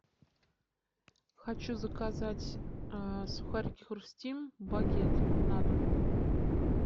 хочу заказать сухарики хрустим багет на дом